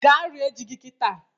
Gaa rie ji gị kịta!